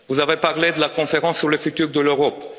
Vous avez parlé de la conférence sur l'avenir de l'Europe.